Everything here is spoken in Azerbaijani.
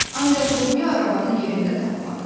Ancaq lobya arabanı yerində tapmadı.